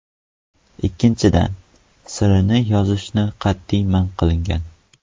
Ikkinchidan, sirini yozishni qat’iy man qilgan.